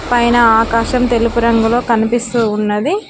పైన ఆకాశం తెలుపు రంగులో కనిపిస్తూ ఉన్నది.